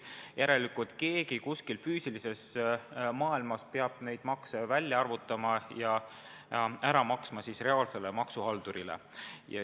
Järelikult keegi kuskil füüsilises maailmas peab neid makse välja arvutama ja ära maksma reaalsele maksuhaldurile.